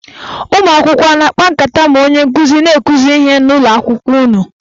Ụmụakwụkwọ a na-akpa nkata ma onye nkụzi na-akụzi ihe n'ụlọakwụkwọ unu?